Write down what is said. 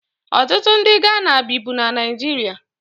Ọtụtụ ndị Ghana bibu na Naịjirịa